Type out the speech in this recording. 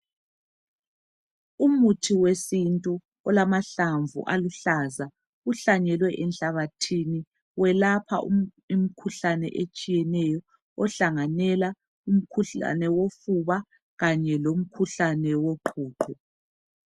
Umuthi wesintu olamahlamvu aluhlaza uhlanyelwe enhlabathini. Welapha imikhuhlane etshiyeneyo ohlanganela umkhuhlane wofuba Kanye lomkhuhlane woqhuqho.